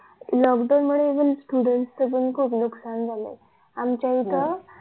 lockdown मुळे अजून पुढे खूप नुस्कान झालंय आमच्या इथं